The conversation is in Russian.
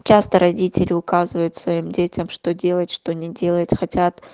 часто родители указывают своим детям что делать что не делать хотят